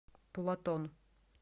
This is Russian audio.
платон